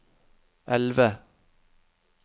elve